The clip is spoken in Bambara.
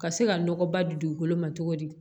Ka se ka nɔgɔ ba di dugukolo ma cogo di